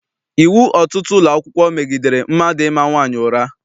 Iwu ọtụtụ ụlọakwụkwọ megidere mmadụ ịma nwaanyị ụra.